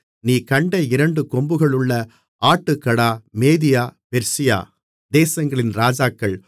நீ கண்ட இரண்டு கொம்புகளுள்ள ஆட்டுக்கடா மேதியா பெர்சியா தேசங்களின் ராஜாக்கள்